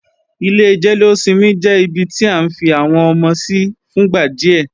Ilé jẹ́lósinmi jẹ́ ibi tí à ń fi àwọn ọmọ sí fúngbà díẹ̀